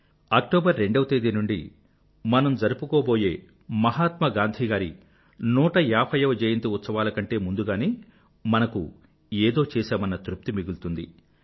October 2వ తేదీ నుండీ మనం జరుపుకోబోయే మహాత్మా గాంధీ గారి 150 వ జయంతి ఉత్సవాల కంటే ముందుగానే మనకు ఏదో చేశామన్న తృప్తి మిగులుతుంది